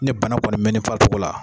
Ni bana kɔni mɛ ne farisogo la